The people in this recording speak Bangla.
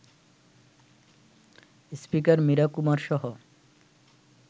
স্পিকার মীরা কুমারসহ